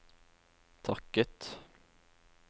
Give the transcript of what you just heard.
takket